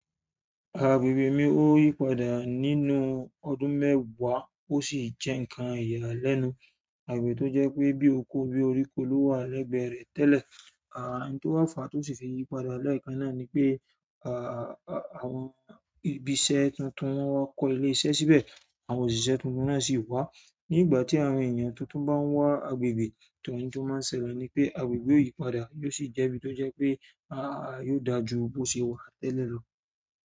Agbègbè mi ó yípadà nínú ọdún mẹ́wàá ó sì jẹ́ ǹnkan ìyàlẹ́nu àgbè tó jẹ́ pé bí oko bí oríko ló wà lẹ́gbẹ́ẹ rẹ̀ tẹ́lẹ̀. À n tó wa fà tó sì fẹ́ yípadà lẹẹkán náà ni pé àwọn ibi iṣẹ́ tuntun wọn wá kọ́ ilé iṣẹ́ síbẹ̀, àwọn òṣìṣẹ́ tuntun náà sì wá. Ní ìgbà tí àwọn èèyàn tuntun bá ń wá agbègbè, to, n tó má ń ṣẹlẹ̀ ni pé agbègbè o yípadà yóò sì jẹ́ ibi tó jẹ́ pé yóò dà jú bó ṣe wà tẹ́lẹ̀ lọ.